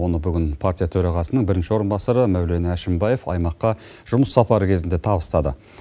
оны бүгін партия төрағасының бірінші орынбасары мәулен әшімбаев аймаққа жұмыс сапары кезінде табыстады